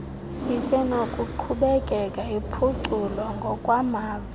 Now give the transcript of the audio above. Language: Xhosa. isenokuqhubeka iphuculwa ngokwamava